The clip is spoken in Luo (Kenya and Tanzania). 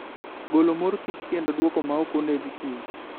golo mor kich kendo dwoko maok oneg kich